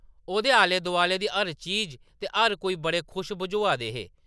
ओह्‌‌‌दे आले-दोआले दी हर चीज ते हर कोई बड़े खुश बझोआ दे हे ।